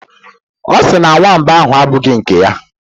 Ọ sị na nwamba ahụ abụghị nke ya.